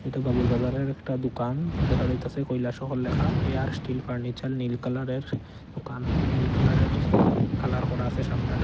এ বাবুর বাজারের একটা দোকান দেখা যাইতাসে কৈলাশহর ল্যাখা এ আর স্টিল ফার্নিচার নীল কালারের দোকান নীল কালারের কালার করা আসে সামনেটা।